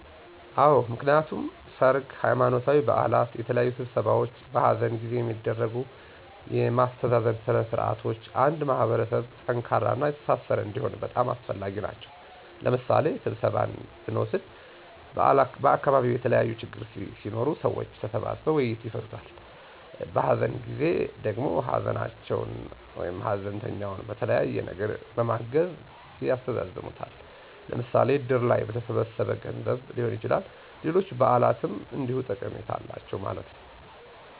አወ፦ ምክንያቱም ሰርግ፣ ሃይማኖታዊ በዓላት፣ የተለያዩ ስብሰባዎች፣ በሃዘን ጊዜ የሚደረጉ የማስተዛዘን ስነ ስርዓቶች አንድ ማህበረሰብ ጠንካራና የተሣሠረ እንዲሆን በጣም አስፈላጊ ናቸዉ። ለምሣሌ ስብሰባን ብንወስድ በዓካባቢዉ የተለያዪ ችግሮች ሢኖሩ ሰዎች ተሰባስበዉ በዉይይት ይፈታሉ። በሃዘን ጊዜ ደግሞ ሃዘንተኛውን በተለያየ ነገር በማገዝ ያስተዛዝናል። ለምሣሌ እድር ላይ በተሠበሠበ ገንዘብ ሊሆን ይችላል፣ ሌሎች በዓላትም እንዲሁ ጠቀሜታ አላቸው ማለት ነዉ።